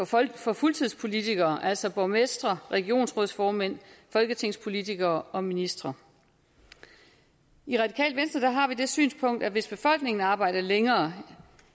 for for fuldtidspolitikere altså borgmestre regionsrådsformænd folketingspolitikere og ministre i radikale venstre har vi det synspunkt at hvis befolkningen arbejder længere